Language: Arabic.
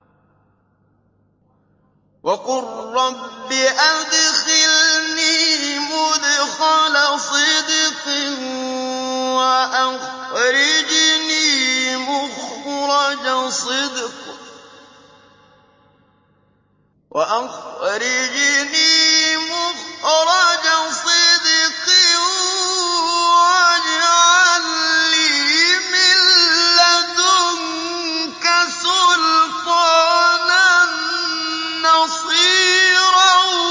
وَقُل رَّبِّ أَدْخِلْنِي مُدْخَلَ صِدْقٍ وَأَخْرِجْنِي مُخْرَجَ صِدْقٍ وَاجْعَل لِّي مِن لَّدُنكَ سُلْطَانًا نَّصِيرًا